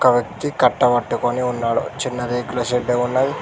ఆ వ్యక్తి కట్ట పట్టుకొని ఉన్నాడు చిన్న రేకుల షెడ్డు ఉన్నద్--